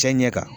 Cɛ ɲɛ kan